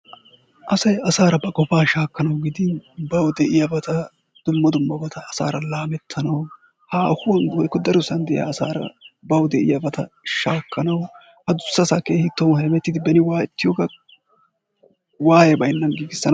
Asay asaaara ba qofaa shakkanawu gidin bawu de'iyabata dumma dummabata asaara laamettanawu haahuwan woykko darosan de'iya asaara bawu de'iyabata shaakkanawu adussasa tohuwan hemettidi beni waayetiyogaa waaye baynnan giigissanaw...